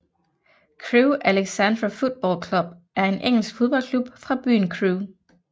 Crewe Alexandra Football Club er en engelsk fodboldklub fra byen Crewe